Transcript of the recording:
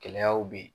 Gɛlɛyaw bɛ yen